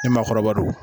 Ni maakɔrɔba don